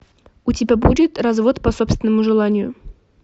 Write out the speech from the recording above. у тебя будет развод по собственному желанию